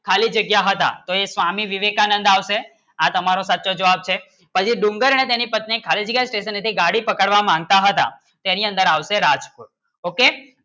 ખાલી જગ્યા હતા તો એ સ્વામી વિવેકાનંદ આવશે આ તમારો સાચો જવાબ છે પછી ડુંગર અને તેની પત્નીની ખાલી જગ્યા ગાડી સિર્ફ તેની પકડવા માંગતા હતા તેની અંદર આવશે રાજકુળ Okay